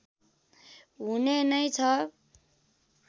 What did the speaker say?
हुने नै छ